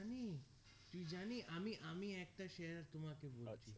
জানি তুই জানি আমি আমি একটা share তোমাকে বলছি